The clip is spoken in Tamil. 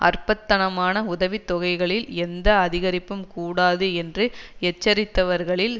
அற்பத்தனமான உதவி தொகைகளில் எந்த அதிகரிப்பும் கூடாது என்று எச்சரித்தவர்களில்